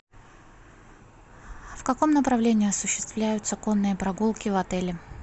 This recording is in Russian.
в каком направлении осуществляются конные прогулки в отеле